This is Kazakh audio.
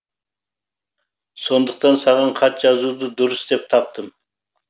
сондықтан саған хат жазуды дұрыс деп таптым